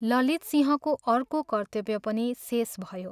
ललितसिंहको अर्को कर्त्तव्य पनि शेष भयो।